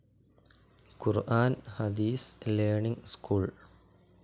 Quran Hadith learning school